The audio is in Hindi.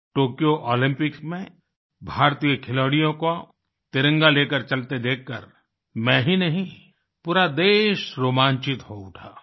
टोक्यो ओलम्पिक्स में भारतीय खिलाड़ियों को तिरंगा लेकर चलते देखकर मैं ही नहीं पूरा देश रोमांचित हो उठा